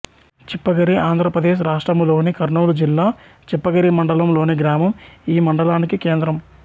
చిప్పగిరి ఆంధ్ర ప్రదేశ్ రాష్ట్రములోని కర్నూలు జిల్లా చిప్పగిరి మండలం లోని గ్రామం ఈ మండలానికి కేంద్రం